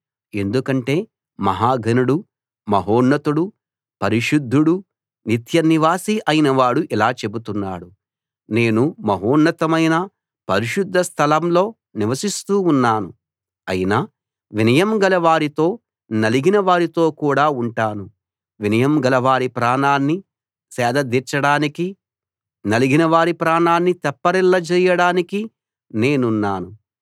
ఎందుకంటే మహా ఘనుడు మహోన్నతుడు పరిశుద్ధుడు నిత్యనివాసి అయినవాడు ఇలా చెబుతున్నాడు నేను మహోన్నతమైన పరిశుద్ధ స్థలంలో నివసిస్తూ ఉన్నాను అయినా వినయంగల వారితో నలిగిన వారితో కూడా ఉంటాను వినయం గలవారి ప్రాణాన్ని సేదదీర్చడానికీ నలిగినవారి ప్రాణాన్ని తెప్పరిల్లజేయడానికీ నేనున్నాను